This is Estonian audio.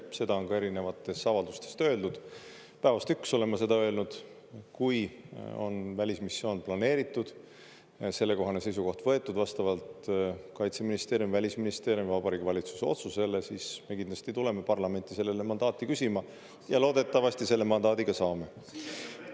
Seda on ka erinevates avaldustes öeldud, päevast üks olen ma seda öelnud, et kui on välismissioon planeeritud, sellekohane seisukoht võetud vastavalt Kaitseministeeriumi, Välisministeeriumi või Vabariigi Valitsuse otsusele, siis me kindlasti tuleme parlamenti sellele mandaati küsima ja loodetavasti selle mandaadi ka saame.